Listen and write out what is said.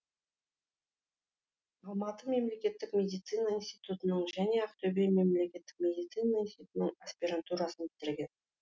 алматы мемлекеттік медицина институтын және ақтөбе мемлекеттік медицина институтының аспирантурасын бітірген